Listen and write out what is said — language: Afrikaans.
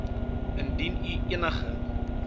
indien u enige